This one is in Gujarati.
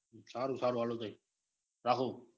સારું સારું હાલો ભાઈ